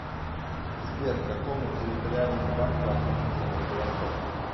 сбер к какому территориальному банку относится владивосток